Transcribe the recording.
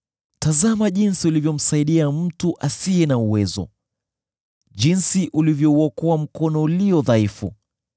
“Tazama jinsi ulivyomsaidia mtu asiye na uwezo! Jinsi ulivyouokoa mkono ulio dhaifu!